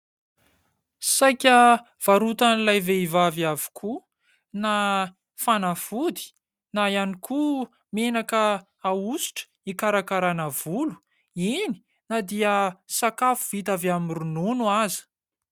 Saika varotan'ilay vehivavy avokoa na fanafody na ihany koa menaka ahosotra hikarakarana volo, iny na dia sakafo vita avy amin'ny ronono aza.